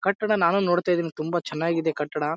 ಕಟ್ಟಡ ನಾನು ನೋಡ್ತಾಯಿದೀನಿ ತುಂಬ ಚೆನ್ನಾಗಿ ಇದೆ ಕಟ್ಟಡ.